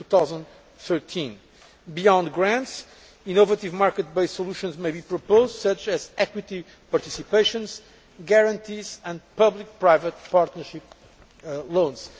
2013. Beyond grants, innovative market based solutions may be proposed such as equity participations, guarantees and public private partnership loans.